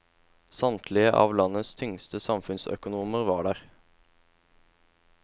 Samtlige av landets tyngste samfunnsøkonomer var der.